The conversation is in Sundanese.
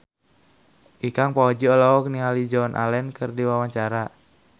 Ikang Fawzi olohok ningali Joan Allen keur diwawancara